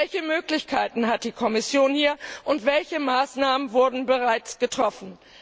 Welche Möglichkeiten hat die Kommission hier, und welche Maßnahmen wurden bereits getroffen?